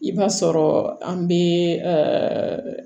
I b'a sɔrɔ an be